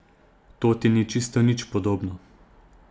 To ti ni čisto nič podobno.